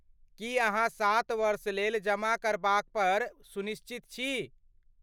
की अहाँ सात वर्षलेल जमा करबापर सुनिश्चित छी?